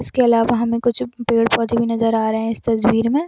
उसके अलावा हमे कुछ पेड़-पौधे भी नज़र आ रहे है इस तस्वीर में।